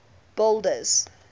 boulders